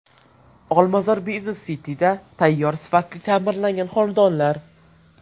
Olmazor Business City’da tayyor sifatli ta’mirlangan xonadonlar.